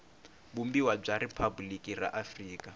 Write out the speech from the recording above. vumbiwa bya riphabuliki ra afrika